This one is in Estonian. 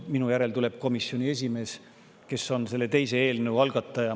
Minu järel tuleb siia komisjoni esimees, kes on selle teise eelnõu algatajate seas.